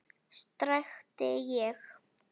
skrækti ég.